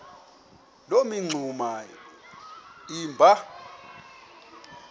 loo mingxuma iba